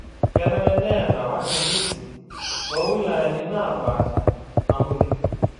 Kenare neeta wakimbisi too wilayani naapasha naboisho